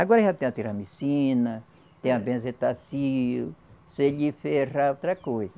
Agora já tem a tiramicina, tem a benzetacil, se lhe ferrar, outra coisa.